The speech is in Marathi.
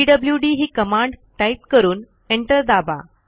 पीडब्ल्यूडी ही कमांड टाईप करून एंटर दाबा